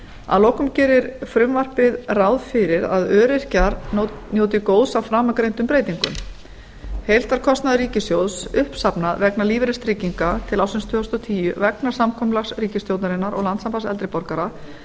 að lokum gerir frumvarpið ráð fyrir að öryrkjar njóti góðs af framangreindum breytingum heildarkostnaður ríkissjóðs uppsafnaður vegna lífeyristrygginga til ársins tvö þúsund og tíu vegna samkomulags ríkisstjórnarinnar og landssambands eldri borgara